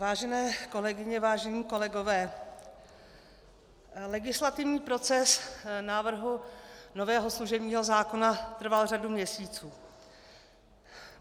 Vážené kolegyně, vážení kolegové, legislativní proces návrhu nového služebního zákona trval řadu měsíců.